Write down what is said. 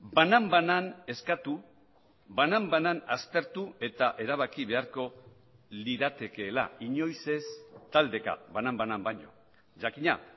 banan banan eskatu banan banan aztertu eta erabaki beharko liratekeela inoiz ez taldeka banan banan baino jakina